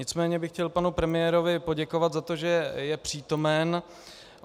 Nicméně bych chtěl panu premiérovi poděkovat za to, že je přítomen.